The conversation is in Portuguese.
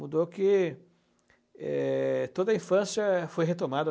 Mudou que é toda a infância foi retomada.